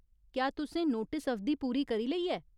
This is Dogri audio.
क्या तुसें नोटिस अवधि पूरी करी लेई ऐ ?